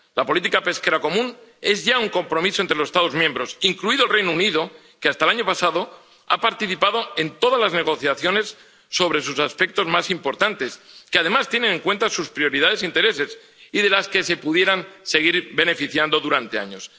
La política pesquera común es ya un compromiso entre los Estados miembros, incluido el Reino Unido, que hasta el año pasado ha participado en todas las negociaciones sobre sus aspectos más importantes que, además, tienen en cuenta sus prioridades e intereses y de los que se podría seguir beneficiando durante años.